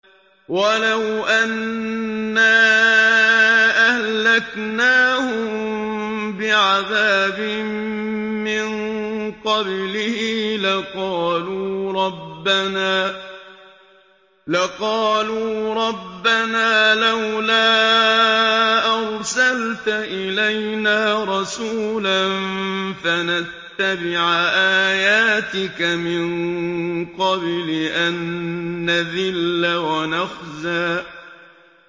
وَلَوْ أَنَّا أَهْلَكْنَاهُم بِعَذَابٍ مِّن قَبْلِهِ لَقَالُوا رَبَّنَا لَوْلَا أَرْسَلْتَ إِلَيْنَا رَسُولًا فَنَتَّبِعَ آيَاتِكَ مِن قَبْلِ أَن نَّذِلَّ وَنَخْزَىٰ